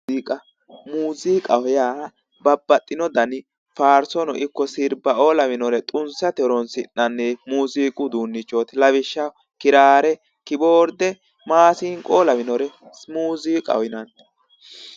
MUziiqa ,muziiqaho yaa babbaxino danni faarsono ikko sirbao'o lawinore xunsate horonsi'nannihu muziiqu uduunichoti, lawishshaho kirare, kibboorde, maasinqo lawinore muziiqaho yinnanni